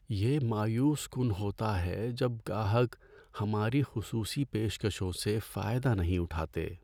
یہ مایوس کن ہوتا ہے جب گاہک ہماری خصوصی پیشکشوں سے فائدہ نہیں اٹھاتے۔